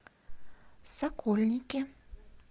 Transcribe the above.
сокольники